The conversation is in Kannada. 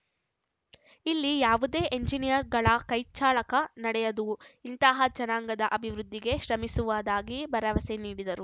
ಇಲ್ಲಿ ಯಾವುದೇ ಎಂಜಿನಿಯರ್‌ಗಳ ಕೈಚಳಕ ನಡೆಯದು ಇಂತಹ ಜನಾಂಗದ ಅಭಿವೃದ್ಧಿಗೆ ಶ್ರಮಿಸುವುದಾಗಿ ಭರವಸೆ ನೀಡಿದರು